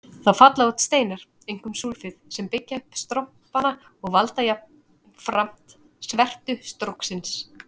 Þá falla út steindir, einkum súlfíð, sem byggja upp strompana og valda jafnframt svertu stróksins.